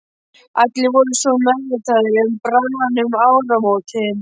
Allir voru svo meðvitaðir um brunavarnir um áramótin.